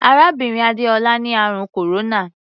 Arábìnrin Adéọlá ni àrùn kòróná.